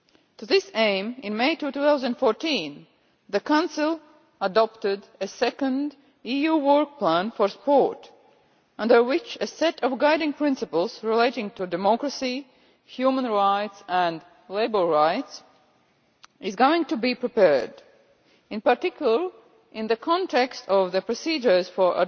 To this aim, in May 2014, the Council adopted a second EU work plan for sport, under which a set of guiding principles relating to democracy, human rights and labour rights is going to be prepared, in particular in the context of the procedures for